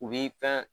U bi fɛn